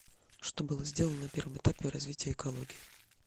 что было сделано на первом этапе развития экологии